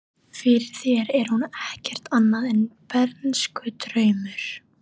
Fyrir þér er hún ekkert annað en bernskudraumur.